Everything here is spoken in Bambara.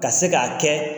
Ka se k'a kɛ